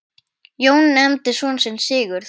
Jón nefndi son sinn Sigurð.